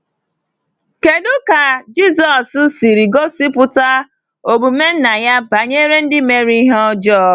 Kedu ka Jisọs siri gosipụta omume Nna ya banyere ndị mere ihe ọjọọ?